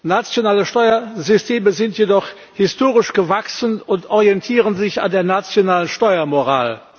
Nationale Steuersysteme sind jedoch historisch gewachsen und orientieren sich an der nationalen Steuermoral.